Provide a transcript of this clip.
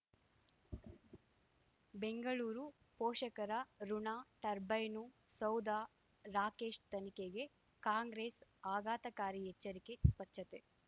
ಬೆಂಗಳೂರು ಪೋಷಕರಋಣ ಟರ್ಬೈನು ಸೌಧ ರಾಕೇಶ್ ತನಿಖೆಗೆ ಕಾಂಗ್ರೆಸ್ ಆಘಾತಕಾರಿ ಎಚ್ಚರಿಕೆ ಸ್ವಚ್ಛತೆ